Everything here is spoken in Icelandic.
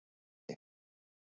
Ásvelli